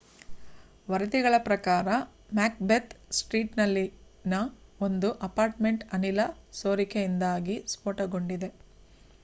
ವರದಿಗಳ ಪ್ರಕಾರ ಮ್ಯಾಕ್‌ಬೆತ್‌ ಸ್ಟ್ರೀಟ್‌ನಲ್ಲಿನ ಒಂದು ಅಪಾರ್ಟ್‌ಮೆಂಟ್‌ ಅನಿಲ ಸೋರಿಕೆಯಿಂದಾಗಿ ಸ್ಫೋಟಗೊಂಡಿದೆ